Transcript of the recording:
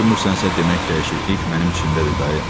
Görmürsənsə demək dəyişiklik mənim içimdədir dayı.